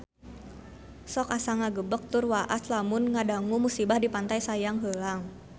Sok asa ngagebeg tur waas lamun ngadangu musibah di Pantai Sayang Heulang